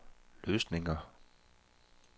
løsninger